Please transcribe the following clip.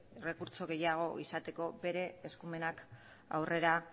errekurtso gehiago izateko bere eskumenak aurrera